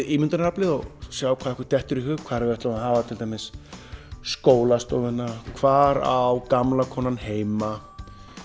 ímyndunaraflið og sjá hvað okkur dettur í hug hvar við ætlum að hafa skólastofuna hvar á gamla konan heima